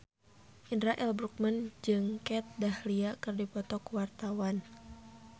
Indra L. Bruggman jeung Kat Dahlia keur dipoto ku wartawan